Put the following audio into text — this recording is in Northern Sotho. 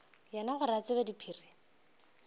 yena gore ke tsebe diphiri